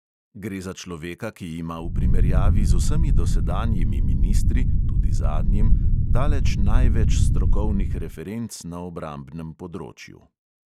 Gre za človeka, ki ima v primerjavi z vsemi dosedanjimi ministri (tudi zadnjim) daleč največ strokovnih referenc na obrambnem področju.